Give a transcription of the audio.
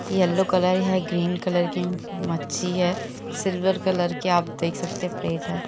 Yellow colour है green colour की मक्खी है सिल्वर कलर की आप देख सकते है प्लेट है।